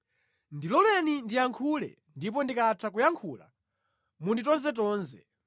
Ndiloleni ndiyankhule ndipo ndikatha kuyankhula munditonzetonze.